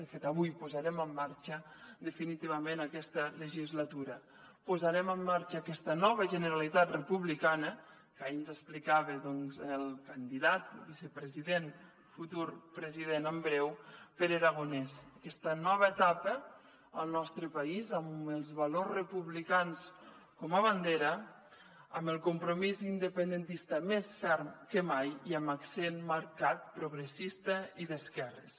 de fet avui posarem en marxa definitivament aquesta legislatura posarem en marxa aquesta nova generalitat republicana que ahir ens explicava doncs el candidat i vicepresident futur president en breu pere aragonès aquesta nova etapa al nostre país amb els valors republicans com a bandera amb el compromís independentista més ferm que mai i amb accent marcat progressista i d’esquerres